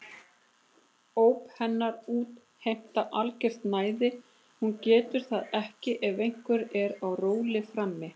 Óp hennar útheimta algert næði, hún getur það ekki ef einhver er á róli frammi.